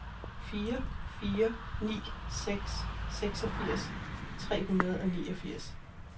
fire fire ni seks seksogfirs tre hundrede og niogfirs